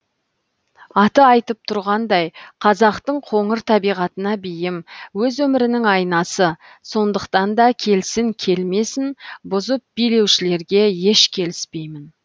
аты айтып тұрғандай қазақтың қоңыр табиғатына бейім өз өмірінің айнасы сондықтан да келсін келмесін бұзып билеушілерге еш келіспеймін